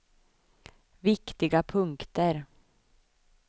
viktiga punkter